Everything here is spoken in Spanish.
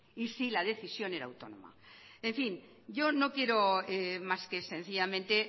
y si la decisión era autónoma en fin yo no quiero más que sencillamente